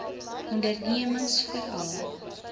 ondernemingsveral